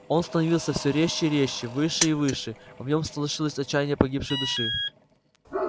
он становился всё резче и резче выше и выше в нём слышалось отчаяние погибшей души